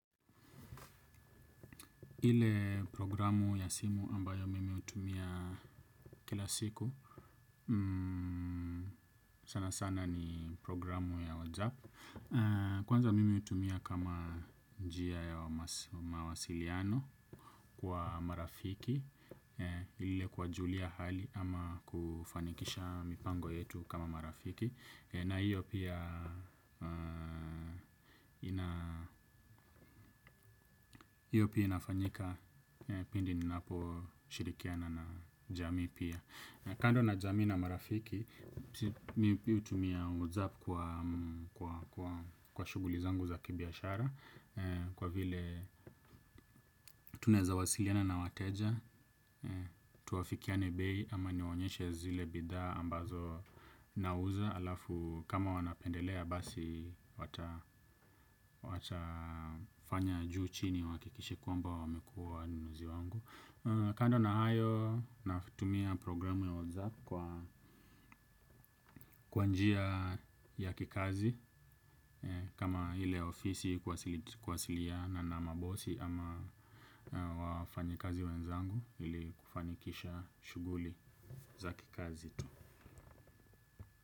Ile programu ya simu ambayo mimi hutumia kila siku sana sana ni programu ya WhatsApp. Kwanza mimi hutumia kama njia ya mawasiliano kwa marafiki. Ile kuwajulia hali ama kufanikisha mipango yetu kama marafiki na hiyo pia hiyo pia inafanyika pindi ninaposhirikiana na jamii pia. Kando na jamii na marafiki, mi hutumia whatsapp kwa shughuli zangu za kibiashara. Kwa vile tunaweza wasiliana na wateja, tuafikiane bei ama niwaonyeshe zile bidhaa ambazo nauza. Alafu kama wanapendelea basi watafanya juu chini wahakikishe kwamba wamekuwa wanunuzi wangu. Kando na hayo natumia programu ya WhatsApp kwa kwa njia ya kikazi kama ile ofisi kuwasiliana na mabosi ama wafanyikazi wenzangu ili kufanikisha shughuli za kikazi tu.